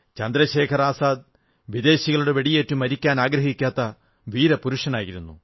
ചന്ദ്രശേഖർ ആസാദ് വിദേശികളുടെ വെടിയേറ്റു മരിക്കാൻ ആഗ്രഹിക്കാത്ത വീരപുരുഷനായിരുന്നു